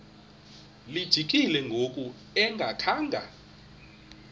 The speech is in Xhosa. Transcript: lijikile ngoku engakhanga